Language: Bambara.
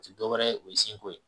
O ti dɔwɛrɛ ye o ye senko ye